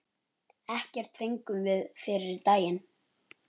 Ekkert fengum við fyrri daginn.